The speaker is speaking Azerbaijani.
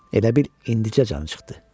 Elə bil indicə canı çıxdı.